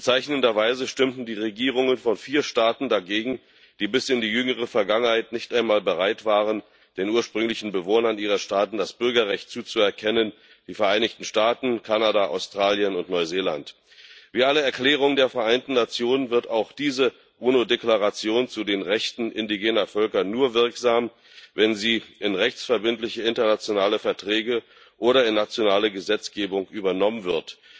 Bezeichnenderweise stimmten die Regierungen von vier Staaten dagegen, die bis in die jüngere Vergangenheit nicht einmal bereit waren, den ursprünglichen Bewohnern ihrer Staaten das Bürgerrecht zuzuerkennen die Vereinigten Staaten, Kanada, Australien und Neuseeland. Wie alle Erklärungen der Vereinten Nationen wird auch diese UNO Deklaration zu den Rechten indigener Völker nur wirksam, wenn sie in rechtsverbindliche internationale Verträge oder in nationale Gesetzgebung übernommen wird.